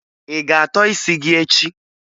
Ị ga-atọ isi gị echi?